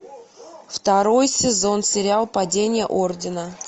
второй сезон сериал падение ордена